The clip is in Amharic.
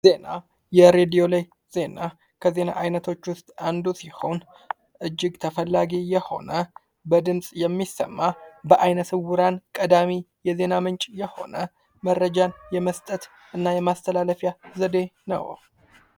ዜና:-የሬዲዮ ላይ ዜና ከዜና አይነቶች ውስጥ አንዱ ሲሆን እጅግ ተፈላጊ የሆነ፤ በድምፅ የሚሰማ ፤በአይነ-ስውራን ቀዳሚ የዜና ምንጭ የሆነ ፤መረጃ የመስጠት እና የማስተላለፊያ ዘዴ ነው።